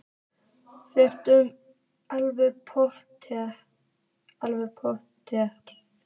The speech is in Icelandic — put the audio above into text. Fréttamaður: Alveg pottþétt?